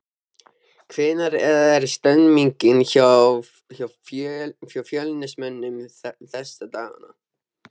Hvernig er stemningin hjá Fjölnismönnum þessa dagana?